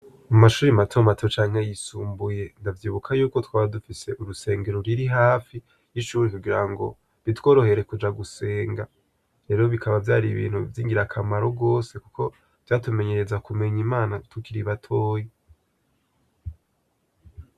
Mu mashuri matomato canke yisumbuye, ndavyibuka yuko twaba dufise urusengero ruri hafi ,y'ishuri kugira ngo bitworohere kuja gusenga rero bikaba vyari ibintu vyingira akamaro gose, kuko vyatumenyereza kumenya Imana tukiri batoyi.